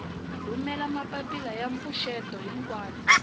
rhumela mapapila ya mpfuxeto xikan